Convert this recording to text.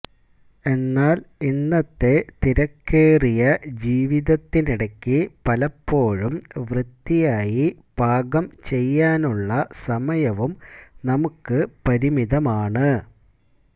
എന്നാല് ഇന്നത്തെ തിരക്കേറിയ ജീവിതത്തിനിടയ്ക്ക് പലപ്പോഴും വൃത്തിയായി പാകം ചെയ്യാനുള്ള സമയവും നമുക്ക് പരിമിതമാണ്